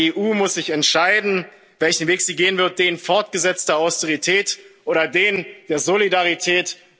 Haus an Mut. Die EU muss sich entscheiden, welchen Weg sie gehen wird den fortgesetzter Austerität oder den